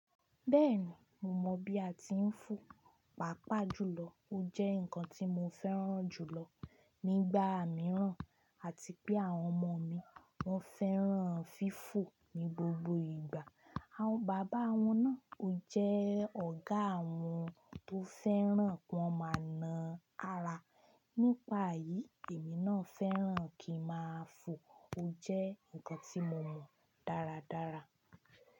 Bẹ́ẹ̀ni, mo mọ̀ bí a ti ń fo, pàápàá jùlọ ó jẹ́ nǹkan tí mo fẹ́ràn jùlọ nígbà mìíràn àti pé àwọn ọmọ mi wọ́n fẹ́ràn fífò ní gbogbo ìgbà. Àwọn bàbá wọn náà ó jẹ́ ọ̀gá wọn tó fẹ́ràn kí wọ́n máa na ara. Nípa eyì, èmi náà fẹ́ràn kí n máa fo. O jẹ́ nkan tí mo mọ̀ dáradára.